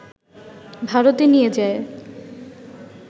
ভারতে নিয়ে যায়